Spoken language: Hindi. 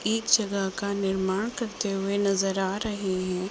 एक जगह का निर्माण करते हुए नजर आ रहे है।